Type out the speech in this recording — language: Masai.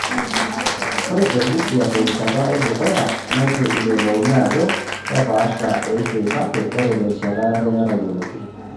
Ore te Busia terishata edukuya neitu eyiolouni ajo kepaasha eishoi kake ore terishata yare natayioloki.